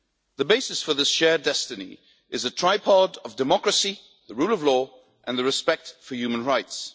The basis for the shared destiny is a tripod of democracy, the rule of law and the respect for human rights.